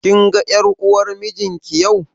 Kin ga ƴar uwar mijin ki yau?